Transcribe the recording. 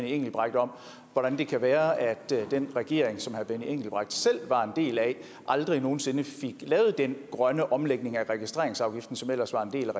engelbrecht om hvordan det kan være at den regering som herre benny engelbrecht selv var en del af aldrig nogen sinde fik lavet den grønne omlægning af registreringsafgiften som ellers var en del